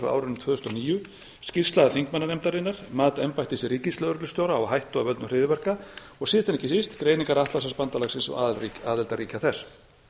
tvö þúsund og níu skýrsla þingmannanefndarinnar mat embættis ríkislögreglustjóra á hættu af völdum hryðjuverka og síðast en ekki síst greiningar atlantshafsbandalagsins og aðildarríkja þess